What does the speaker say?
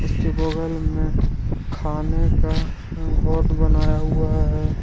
इसके बगल में खाने का बनाया हुआ है।